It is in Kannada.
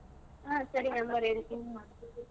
ಹಾ ಸರಿ number ಹೇಳ್ತಿನಿ.